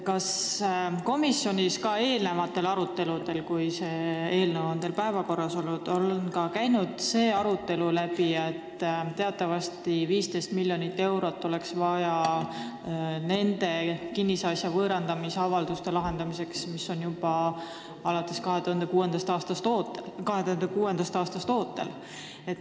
Kas komisjonis on eelmistel aruteludel, kui teil on see eelnõu päevakorras olnud, käinud läbi ka see teema, et teatavasti oleks vaja 15 miljonit eurot nende kinnisasja võõrandamise avalduste lahendamiseks, mis on ootel juba alates 2006. aastast?